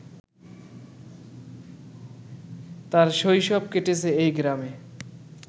তার শৈশব কেটেছে এই গ্রামে